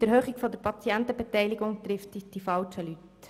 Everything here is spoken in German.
Die Erhöhung der Patientenbeteiligung betrifft die falschen Leute.